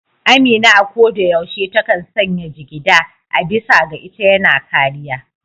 Amina a ko da yaushe ta kan sanya jigida, a bisa ga ita yana kariya.